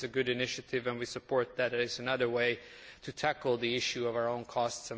This is a good initiative and we support it as another way to tackle the issue of our own costs.